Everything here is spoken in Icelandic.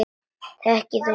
Þekkir þú hana líka?